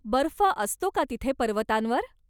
बर्फ असतो का तिथे पर्वतांवर?